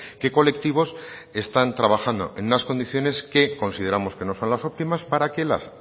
qué colectivos están trabajando en unas condiciones que consideramos que no son las óptimas para que las